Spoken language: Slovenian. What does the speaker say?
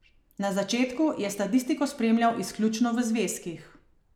Na začetku je statistiko spremljal izključno v zvezkih.